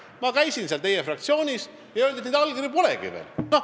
Ma käisin teie fraktsioonis ja seal öeldi, et neid allkirju veel polegi.